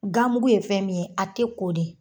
Gamugu ye fɛn min ye a te ko de.